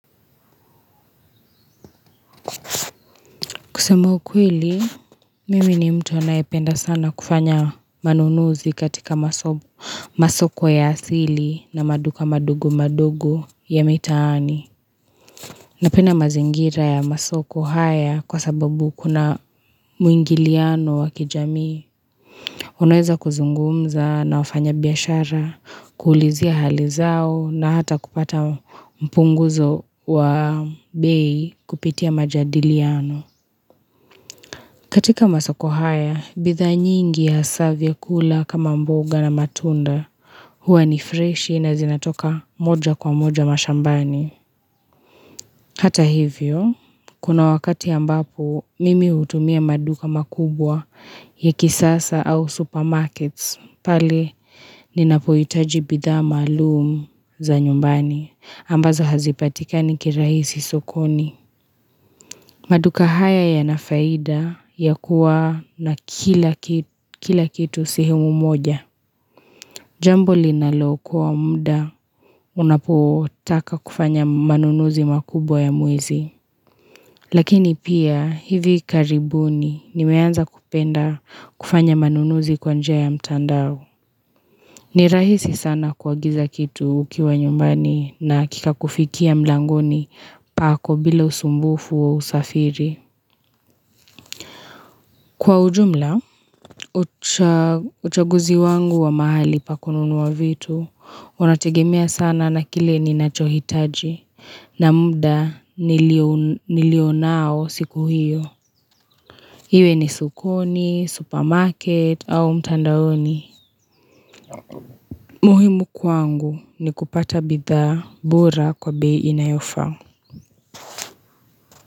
Kusema ukweli, mimi ni mtu anaependa sana kufanya manunuzi katika masoko ya asili na maduka madogo madogo ya mitaani. Napenda mazingira ya masoko haya kwa sababu kuna muingiliano wa kijamii. Unaweza kuzungumza na wafanya biashara, kuulizia hali zao na hata kupata mpunguzo wa bei kupitia majadiliano. Katika masako haya, bidhaa nyingi hasaa vyakula kama mboga na matunda huwa ni freshi na zinatoka moja kwa moja mashambani. Hata hivyo, kuna wakati ambapo mimi utumia maduka makubwa ya kisasa au supermarkets pale ninapohitaji bidhaa malum za nyumbani ambazo hazipatikani kiraisi sokoni. Maduka haya yanafaida ya kuwa na kila kitu sehemu moja. Jambo linalookoa muda unapotaka kufanya manunuzi makubwa ya mwezi. Lakini pia hivi karibuni nimeanza kupenda kufanya manunuzi kwa njia ya mtandao. Ni rahisi sana kuagiza kitu ukiwa nyumbani na kikakufikia mlangoni pako bila usumbufu wa usafiri. Kwa ujumla, uchaguzi wangu wa mahali pa kununua vitu, unategemea sana na kile ninachohitaji na muda nilio nao siku hiyo. Hiwe ni sokoni, supermarket au mtandaoni. Muhimu kwangu ni kupata bidhaa bora kwa bei inayofaa.